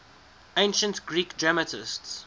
ancient greek dramatists